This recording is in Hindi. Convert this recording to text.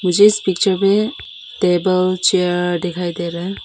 जिस पिक्चर में टेबल चेयर दिखाई दे रहा है।